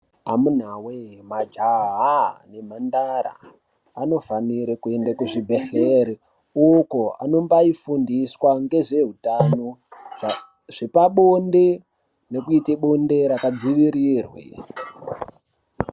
Amuna we majaha nembandara vanofanira kuenda kuzvibhedhlera ukoaibafundiswa nezvehutano zvepabonde nekuita bonde rakadzivirirwa.